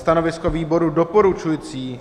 Stanovisko výboru doporučující.